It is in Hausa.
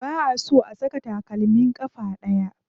Ba a so a saka takalmi a ƙafa ɗaya.